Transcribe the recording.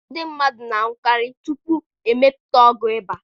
Ndị mmadụ na-anwụkarị tupu e mepụta ọgwụ ịba.